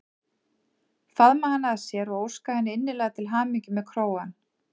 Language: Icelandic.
Faðma hana að sér og óska henni innilega til hamingju með krógann.